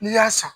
N'i y'a san